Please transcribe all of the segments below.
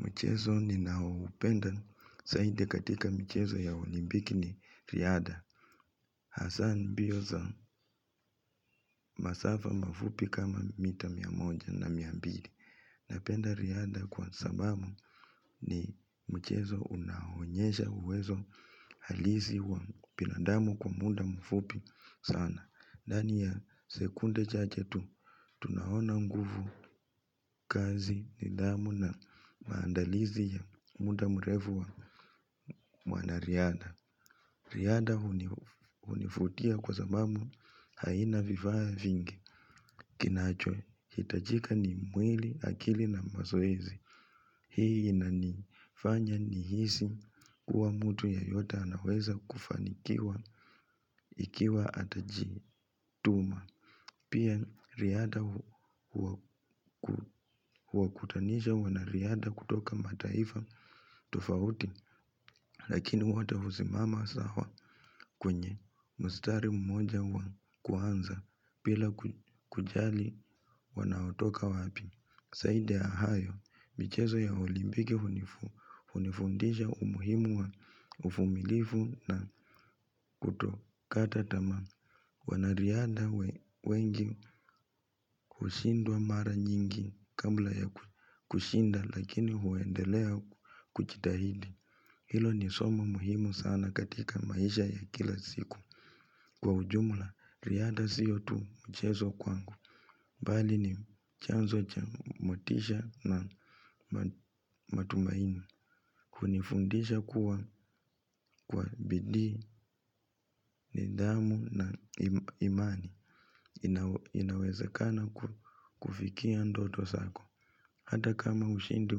Mchezo ni naupenda zaidi katika mchezo ya olimbiki ni riada. Hasa mbio za masafa mafupi kama mita miyamonja na miyambili. Napenda riada kwa sabamu ni mchezo unahonyesha uwezo halizi wa binadamu kwa muda mfupi sana. Ndani ya sekunde cha jetu, tunahona nguvu kazi, nidamu na maandalizi ya muda mrevu wa mwana riada. Riada hunifutia kwa sababu haina viva ya fingi. Kinacho, hitajika ni mwili akili na mazoezi. Hii inani fanya nihisi kuwa mtu yeyote anaweza kufanikiwa ikiwa atajituma. Pia riada huwa kutanisha wanariada kutoka mataifa tofauti lakini wotehuzimama sawa kwenye mstari mmoja kuanza pila kujali wanautoka wapi. Zaida ya hayo michezo ya olimpiki hunifundisha umuhimu wa uvumilivu na kutokata tamaa wanariada wengi kushindwa mara nyingi kabla ya kushinda lakini huendelea kuchitahidi. Hilo ni somo muhimu sana katika maisha ya kila siku. Kwa ujumula, riada siyotu mchezo kwangu. Bali ni chanzo cha motisha na matumaini. Kunifundisha kuwa kwa bidi, nidhamu na imani. Inaweza kana kufikia ndoto sako. Hata kama ushindi,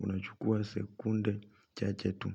unachukua sekunde cha che tu.